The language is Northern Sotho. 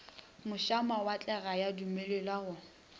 mošamawatle ga ya dumelelwa go